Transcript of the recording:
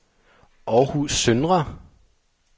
Århus Søndre